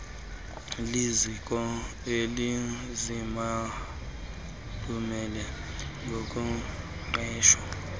liziko elizibalule ngokugqwesa